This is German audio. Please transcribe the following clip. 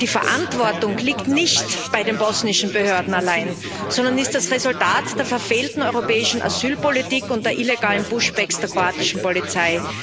Die Verantwortung liegt nicht bei den bosnischen Behörden allein, sondern ist das Resultat der verfehlten europäischen Asylpolitik und der illegalen Push backs der kroatischen Polizei.